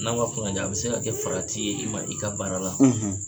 N'an k'a fɔ ma a bɛ se ka kɛ farati ye i ma i ka baara la.